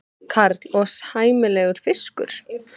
Karl: Og sæmilegur fiskur?